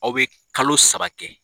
Aw bɛ kalo saba kɛ.